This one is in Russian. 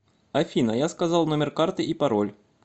афина я сказал номер карты и пароль